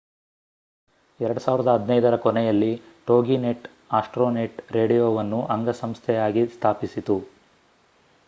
2015 ರ ಕೊನೆಯಲ್ಲಿ Toginet Astronet ರೇಡಿಯೊವನ್ನು ಅಂಗಸಂಸ್ಥೆಯಾಗಿ ಸ್ಥಾಪಿಸಿತು